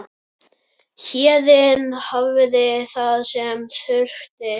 Héðinn hafði það sem þurfti.